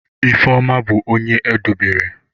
Ifeoma bu onye edobere.